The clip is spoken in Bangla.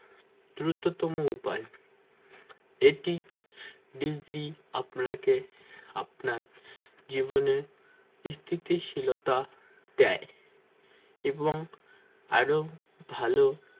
দ্রুততম উপায় এটি degree আপনাকে আপনার জীবনে স্থিতিশীলতা দেয় এবং আরো ভালো